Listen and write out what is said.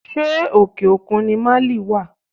Ṣé òkè òkun ni Máálì wá?